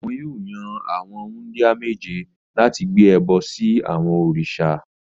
Wọn yóò yan àwọn wúńdíá méje láti gbé ẹbọ sí àwọn òrìṣà.